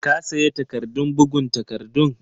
ka sayi takardun bugun takardun?